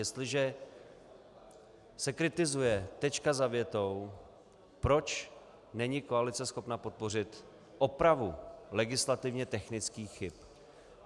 Jestliže se kritizuje tečka za větou, proč není koalice schopna podpořit opravu legislativně technických chyb.